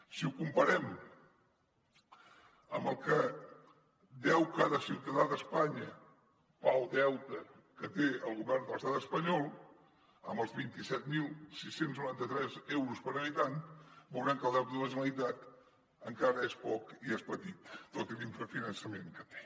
si ho comparem amb el que deu cada ciutadà d’espanya pel deute que té el govern de l’estat espanyol amb els vint set mil sis cents i noranta tres euros per habitant veurem que el deute de la generalitat encara és poc i és petit tot i l’infrafinançament que té